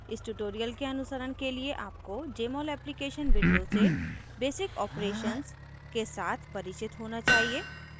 इस tutorial के अनुसरण के लिए आपको jmol application window से basic operations के साथ परिचित होना चाहिए